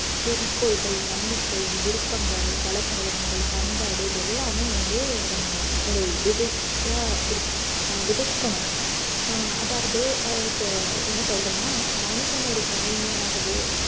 குறிக்கோள்கள், நம்பிக்கை, விருப்பங்கள், பழக்கவழக்கங்கள், பண்பாடு இது எல்லாமே வந்து நம்ம ஒரு விதையா இருக்~ விதைக்கணும் ஆஹ் அதாவது ஆஹ் இப்போ என்ன சொல்றேன்னா மனிதன் ஒரு கவிஞனாகவோ